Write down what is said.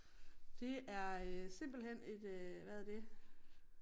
Det er øh simpelthen et øh hvad er det